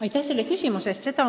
Aitäh selle küsimuse eest!